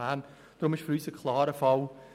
Deshalb ist es für uns ein klarer Fall: